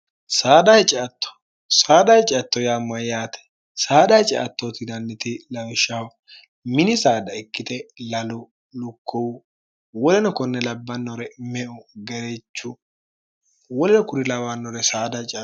csaadha hiciatto yaammoe yaate saadha hiciattootinanniti lawishshawo mini saada ikkite lalu lukkohu woleno konne labbannore meu garechu woleno kuri lawannore saad hic